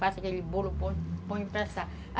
Faço aquele bolo, ponho, ponho para assar.